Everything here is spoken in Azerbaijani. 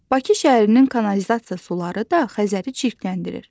Bakı şəhərinin kanalizasiya suları da Xəzəri çirkləndirir.